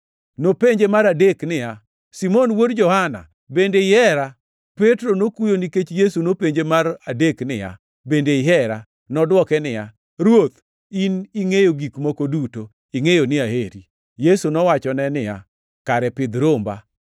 Nopenje mar adek niya, “Simon wuod Johana, bende ihera?” Petro nokuyo nikech Yesu nopenje mar adek niya, “Bende ihera?” Nodwoke niya, “Ruoth, in ingʼeyo gik moko duto; ingʼeyo ni aheri.” Yesu nowachone niya, “Kare pidh romba.